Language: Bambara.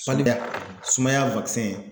sumaya